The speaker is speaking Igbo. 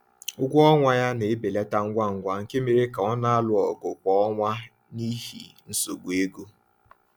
Ụgwọ ọnwa ya na-ebelata ngwa ngwa nke mere ka ọ na-alụ ọgụ kwa ọnwa n’ihi nsogbu ego.